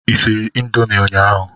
ị siri Indomie ụnyaahụ?